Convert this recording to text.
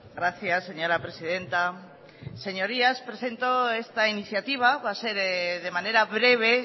gracias señora presidenta señorías presento esta iniciativa va a ser de manera breve